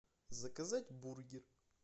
заказать бургер